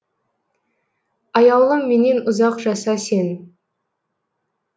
аяулым менен ұзақ жаса сен